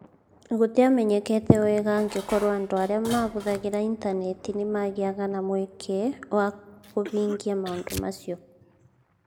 Gũtiamenyekete wega angĩkorũo andũ arĩa mahũthagĩra Intaneti nĩ magĩaga na mweke wa kũhingia maũndũ macio.